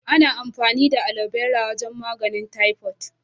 Ana amfani da Aloe Vera wajen maganin "typhoid".